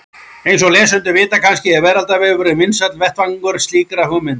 Eins og lesendur vita kannski er Veraldarvefurinn vinsæll vettvangur slíkra hugmynda.